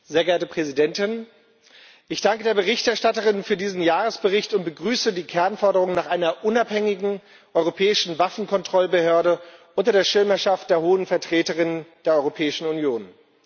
Frau Präsidentin! Ich danke der Berichterstatterin für diesen Jahresbericht und begrüße die Kernforderung nach einer unabhängigen europäischen Waffenkontrollbehörde unter der Schirmherrschaft der Hohen Vertreterin der Europäischen Union.